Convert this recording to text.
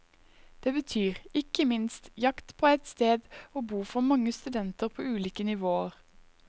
Det betyr, ikke minst, jakt på et sted å bo for mange studenter på ulike nivåer.